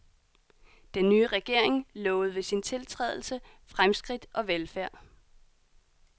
Den nye regering lovede ved sin tiltrædelse fremskridt og velfærd.